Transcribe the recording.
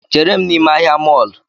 Chere m n’ime ahịa mọlụ